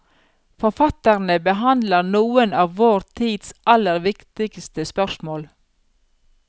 Forfatterne behandler noen av vår tids aller viktigste spørsmål.